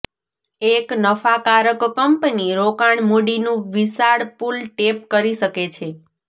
એક નફાકારક કંપની રોકાણ મૂડીનું વિશાળ પૂલ ટેપ કરી શકે છે